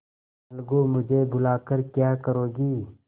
अलगूमुझे बुला कर क्या करोगी